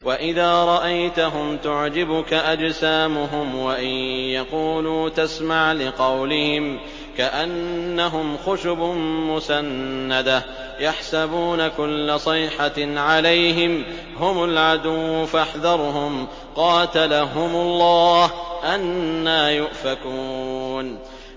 ۞ وَإِذَا رَأَيْتَهُمْ تُعْجِبُكَ أَجْسَامُهُمْ ۖ وَإِن يَقُولُوا تَسْمَعْ لِقَوْلِهِمْ ۖ كَأَنَّهُمْ خُشُبٌ مُّسَنَّدَةٌ ۖ يَحْسَبُونَ كُلَّ صَيْحَةٍ عَلَيْهِمْ ۚ هُمُ الْعَدُوُّ فَاحْذَرْهُمْ ۚ قَاتَلَهُمُ اللَّهُ ۖ أَنَّىٰ يُؤْفَكُونَ